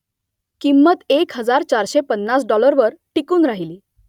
किंमत एक हजार चारशे पन्नास डॉलरवर टिकून राहिली